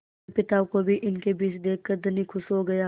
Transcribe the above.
अपने पिता को भी इनके बीच देखकर धनी खुश हो गया